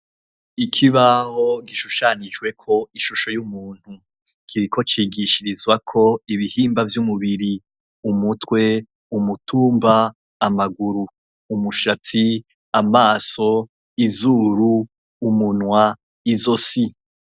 Ikibaho gishushanijweko ishusho y'umuntu. Kiriko cigishirizwako ibihimbavy'umubiri:umutwe ,umutumba ,amaguru umushstsi, amaso, izuru, umunwa, izosi.